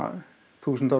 þúsund árum